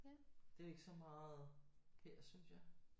Det er ikke så meget her synes jeg